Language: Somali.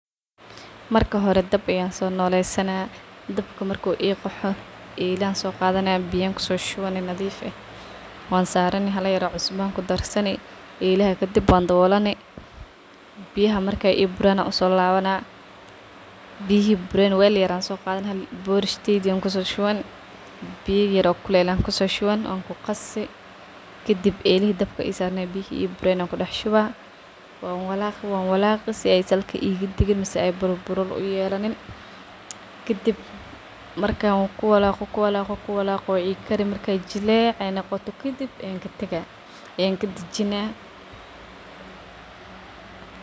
Marka xore dab ayan sonoleysana, dabka marku iqaxoo, ela ayan soqadana biya ayan kusoshuwani nadif ah, wan sarani xala yar oo cusba ayan kudarsani elaxa kadib wan dawolani, biya markay iburan ayan kusolawana, biyixi buren wel yar ayan soqadana borishteydo ayan kusoshuwan, biya yar oo kulel ayan kusoshuwan wan kuqasii, kadib biyi iburen ayan kudaxshuwaa wan walaqi wan walaqii, si aya salka igadagin mise ay burabura uyelanin, kadib markan kuwalago kuwalago way ikari markay jilec nogoto kafib ayan kadajinaa.